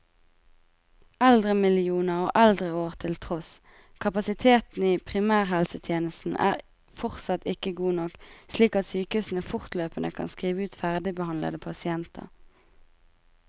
Eldremillioner og eldreår til tross, kapasiteten i primærhelsetjenesten er fortsatt ikke god nok, slik at sykehusene fortløpende kan skrive ut ferdigbehandlede pasienter.